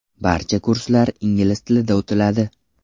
Barcha kurslar ingliz tilida o‘tiladi.